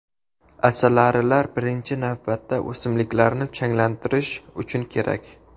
Asalarilar birinchi navbatda o‘simliklarni changlantirish uchun kerak.